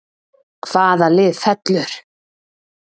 Hvaða lið fellur???